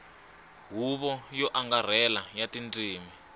huvo yo angarhela ya tindzimi